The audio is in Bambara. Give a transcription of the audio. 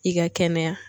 I ka kɛnɛya